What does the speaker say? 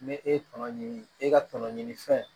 Ne e ye tɔnɔ ɲini e ka tɔnɔ ɲini fɛn